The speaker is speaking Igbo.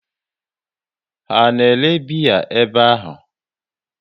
Ha na ere biya ebe ahụ?